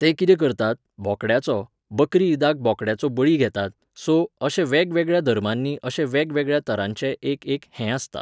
ते कितें करतात, बोकड्याचो, बकरी इदाक बोकड्याचो बळी घेतात, सो, अशे वेगवेगळ्या धर्मांनी अशे वेगवेगळ्या तरांचें एक एक हें आसता